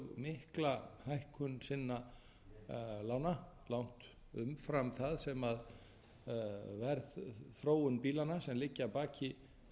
mikla hækkun sinna lána langt umfram það sem verðþróun bílanna sem liggja að baki sem